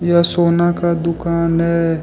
यह सोना का दुकान है।